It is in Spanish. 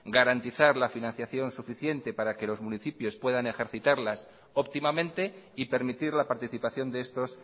garantizar la financiación suficiente para que los municipios puedan ejercitarlas óptimamente y permitir la participación de estos